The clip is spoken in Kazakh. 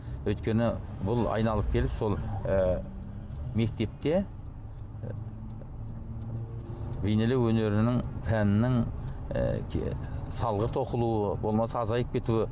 өйткені бұл айналып келіп сол ы мектепте ы бейнелеу өнерінің пәнінің ы салғырт оқылуы болмаса азайып кетуі